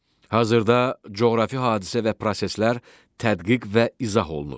Hazırda coğrafi hadisə və proseslər tədqiq və izah olunur.